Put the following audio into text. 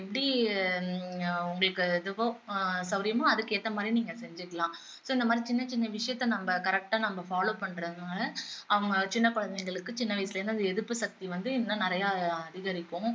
எப்படி உங்களுக்கு இதுவோ ஆஹ் சௌகரியமோ அதுக்கேத்த மாதிரி நீங்க செஞ்சுக்கலாம் so இந்த மாதிரி சின்ன சின்ன விஷயத்த நம்ம correct ஆ நம்ம follow பண்றதுனால அவங்க சின்ன குழந்தைங்களுக்கு சின்ன வயசுல இருந்து அந்த எதிர்ப்பு சக்தி வந்து இன்னும் நிறைய அதிகரிக்கும்